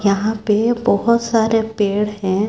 यहां पे बहुत सारे पेड़ हैं।